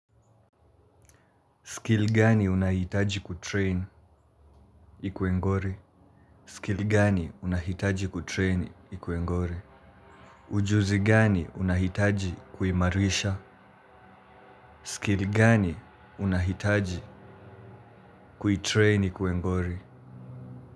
Skill gani unaihitaji kutreini ikue ngori? Skill gani unahitaji kutreini ikue ngori? Ujuzi gani unahitaji kuimarisha? Skili gani unahitaji kuitreini ikuwe ngori?